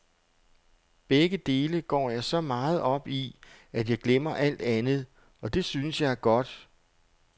Begge dele går jeg så meget op i, at jeg glemmer alt andet, og det synes jeg er godt.